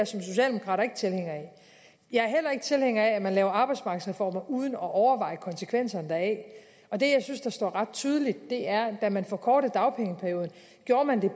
socialdemokrat ikke tilhænger af jeg er heller ikke tilhænger af at man laver arbejdsmarkedsreformer uden at overveje konsekvenserne deraf det jeg synes står ret tydeligt er at da man forkortede dagpengeperioden gjorde man det